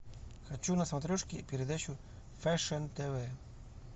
хочу на смотрешке передачу фэшн тв